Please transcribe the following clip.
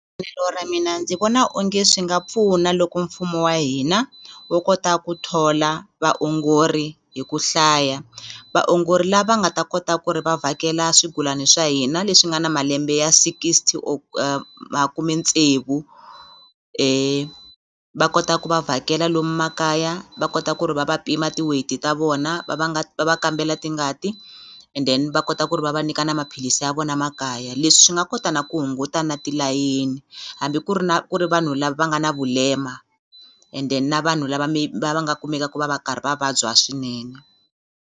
ra mina ndzi vona onge swi nga pfuna loko mfumo wa hina wo kota ku thola vaongori hi ku hlaya vaongori lava nga ta kota ku ri va vhakela swigulani swa hina leswi nga na malembe ya sixty or makumetsevu va kota ku va vhakela lomu makaya va kota ku ri va va pima ti-weight ta vona va va va va kambela tingati and then va kota ku ri va va nyika na maphilisi ya vona makaya leswi swi nga kota na ku hunguta na tilayini hambi ku ri na ku ri vanhu lava va nga na vulema and then na vanhu lava va va nga kumekaku va va karhi va vabya swinene.